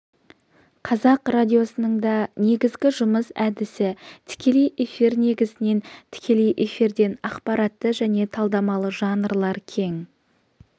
қазақ радиосының да негізгі жұмыс әдісі тікелей эфир негізінен тікелей эфирден ақпаратты және талдамалы жанрлар кең